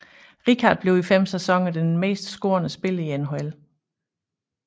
Richard blev i fem sæsoner den mest scorende spiller i NHL